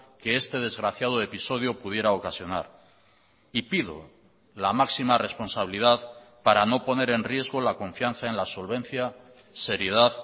que este desgraciado episodio pudiera ocasionar y pido la máxima responsabilidad para no poner en riesgo la confianza en la solvencia seriedad